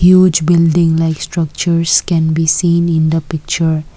huge building like structures can be seen in the picture.